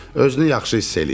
Özünü yaxşı hiss eləyir.